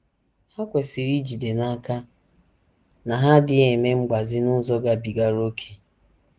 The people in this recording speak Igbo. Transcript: Ha kwesịrị ijide n’aka na ha adịghị eme mgbazi n’ụzọ gabigara ókè.